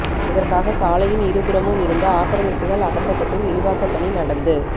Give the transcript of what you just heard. இதற்காக சாலையின் இருபுறமும் இருந்த ஆக்கிரமிப்புகள் அகற்றப்பட்டு விரிவாக்கப் பணி நடந்து